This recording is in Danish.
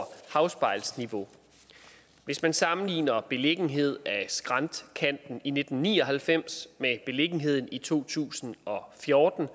havspejlsniveau hvis man sammenligner beliggenheden af skræntkanten i nitten ni og halvfems med beliggenheden i to tusind og fjorten